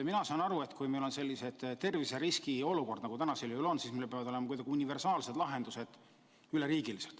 Mina saan aru, et kui meil on selline terviseriski olukord, nagu praegu on, siis meil peavad olema üleriigilised universaalsed lahendused.